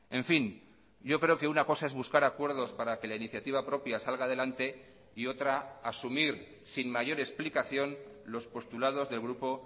en fin yo creo que una cosa es buscar acuerdos para que la iniciativa propia salga adelante y otra asumir sin mayor explicación los postulados del grupo